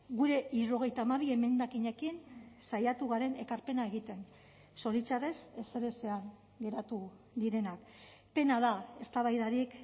gure hirurogeita hamabi emendakinekin saiatu garen ekarpena egiten zoritxarrez ezerezean geratu direnak pena da eztabaidarik